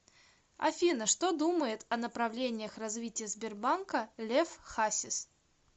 афина что думает о направлениях развития сбербанка лев хасис